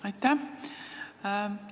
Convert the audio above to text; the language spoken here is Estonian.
Aitäh!